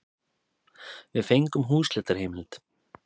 Við fengum húsleitarheimild.